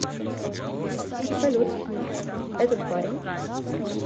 салют этот парень